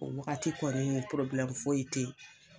O wagati kɔni foyi te ye.